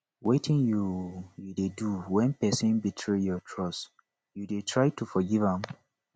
wetin you you dey do when person betray your trust you dey try to forgive am